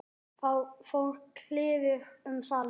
Þá fór kliður um salinn.